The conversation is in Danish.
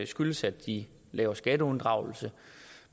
skyldes at de laver skatteunddragelse